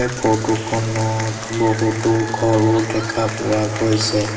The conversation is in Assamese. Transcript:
ফটো খনত বহুটো ঘৰো দেখা পোৱা গৈছে।